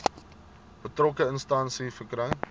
betrokke instansie verkry